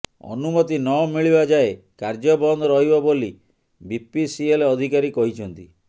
ଅନୁମତି ନ ମିଳିବା ଯାଏ କାର୍ଯ୍ୟ ବନ୍ଦ ରହିବ ବୋଲି ବିପିସିଏଲ୍ ଅଧିକାରୀ କହିଛନ୍ତି